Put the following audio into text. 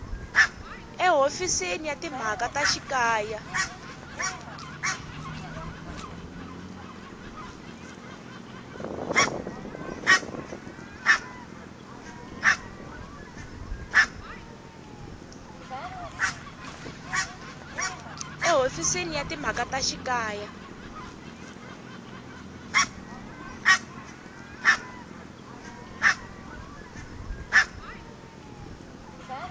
ehofisini ya timhaka ta xikaya